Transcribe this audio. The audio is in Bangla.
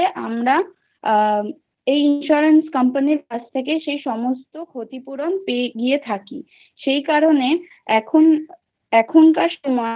হলে আমরা আ এই insurance company কাছ থেকে সেই সমস্ত ক্ষতিপূরণ পেয়ে গিয়ে থাকি। সেই কারণে এখন